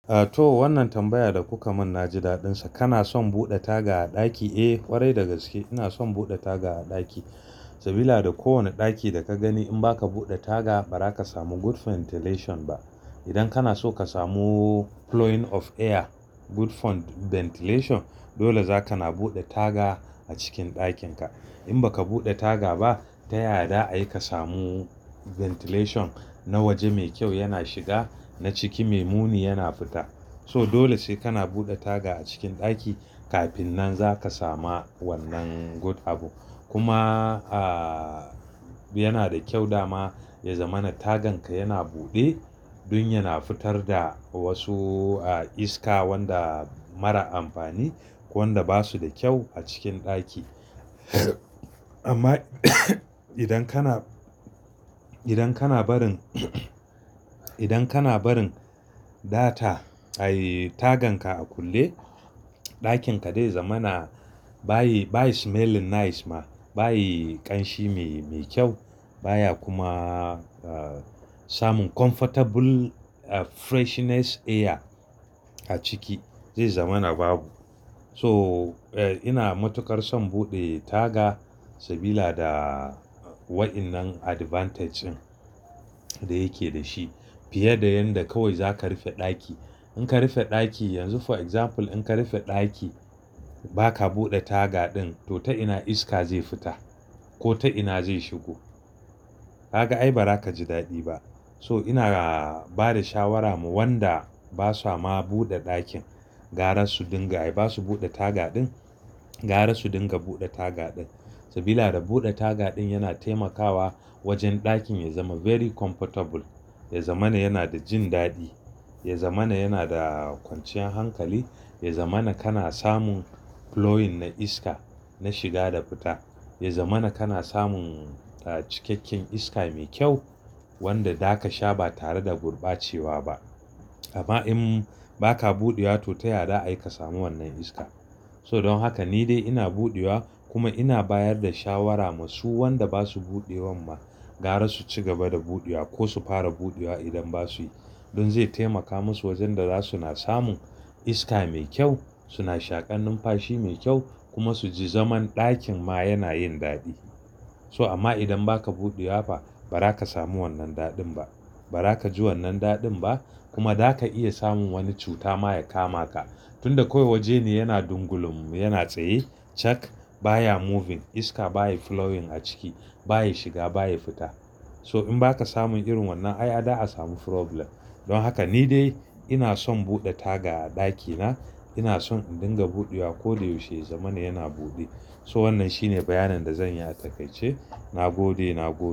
Ah to wannan tambaya da kuka mun na ji daɗin sa. Kana son buɗe taga a ɗaki? Eh ƙwarai da gaske ina son buɗe taga a ɗaki, sabila da ko wane ɗaki da ka gani in ba ka buɗe taga ba ra ka samu good ventilation ba. Idan kana so ka samu flowing of air good ventilation dole zaka na buɗe taga a cikin ɗakin ka. In baka buɗe taga ba, ta yaya za ayi ka samu ventilation na waje mai kyau yana shiga na ciki mai muni yana fita. To dole sai kana buɗe taga a cikin ɗaki kafin nan zaka samu wannan good abu. Kuma a yana da kyau dama ya zama na tagan ka yana buɗe, dun ya na fitar da wasu iska wanda mara amfani, wanda ba su da kyau a cikin ɗaki. Amma idan kana, idan kana barin, idan kana barin data ai tagan ka a kulle, ɗakin ka dai zaman ba yi, ba yi smelling nice ba, bayi ƙanshi mai kyau, baya kuma samun comfortable freshness air a ciki, zai zama na babu. So ina matuƙar son buɗe taga saboda waɗannan advantage da yake da shi, fiye da yanda kawai zaka rufe ɗaki. In ka rufe ɗaki yanzu for example in ka rufe ɗaki ba ka buɗe taga ɗin to ta ina iska zai fita? Ko ta ina zai shigo? Ka ga ai ba za ka ji daɗi ba. So ina bada shawara ma wanda ba sa ma buɗe ɗakin, gara su dinga ai ba su buɗe taga ɗin, gara su dinga buɗe taga ɗin. Sabila da buɗe taga ɗin yana taimakawa wajen ɗakin ya zama very comfortable, ya zama yana da jin daɗi, ya zama yana da kwanciyar hankali, ya zama kana samun flowing na iska, na shiga da fita. Ya zama kana samun cikakken iska mai kyau wanda zaka sha ba tare da gurbacewa ba. Amma in ba ka buɗewa to ta yada za ayi ka samu wannan iska. So don haka ni dai ina buɗewa kuma ina bayar da shawara masu wanda ba su buɗe wan ma, gara su ci gaba da buɗewa ko su fara buɗewa idan ba su yi. Don zai taimaka musu wajen da za su na samun iska mai kyau, suna shaƙan numfashi mai kyau kuma su ji zaman ɗakin ma yana yin daɗi. So amma idan ba ka buɗewa ba, ba za ka samu wannan daɗin ba, ba za ka ji wannan daɗin ba. Kuma za ka iya samun wani cuta ma ya kama ka, tunda kawai wajen ne yana dungulum, yana tsaye, check baya moving iska baya flowing a ciki, baya shiga baya fita. So in ba ka samun irin wannan ai a da a samu problem. Don haka ni dai ina son buɗe taga a ɗakina ina son in dinga buɗewa. Ko da yaushe ya zama na yana buɗe. So wannan shine bayanan da zan yi a takaice. Na buɗe, na buɗe.